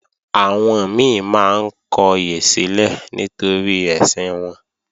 Àwọn mi máa ń kọyè sílẹ̀ nítorí ẹ̀sìn wọn